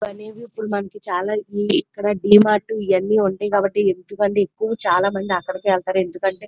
ఇక్కడ డి మార్ట్ ఇవన్ని ఉంటాయి కాబట్టి ఎక్కువ చాలా మంది అక్కడికే వెళ్తారు ఎందుకంటే --